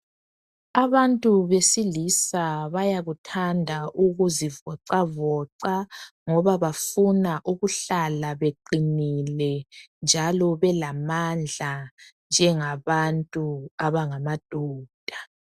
Abantu besilisa bayakuthanda ukuzivoxavoxa ngoba bafuna ukuhlala beqinile njalo belamandla njengabantu abangamadoda